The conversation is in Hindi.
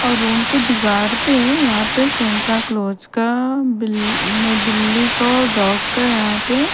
और रूम के दीवार पे यहाँ पे सेन्टाक्लॉस का बील न बिल्ली का और डॉग का यहाँ पे --